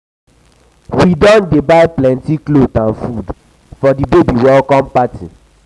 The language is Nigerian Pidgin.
we don dey buy plenty cloth and food for di baby welcome party. party.